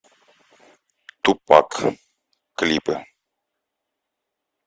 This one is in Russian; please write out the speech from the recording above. тупак клипы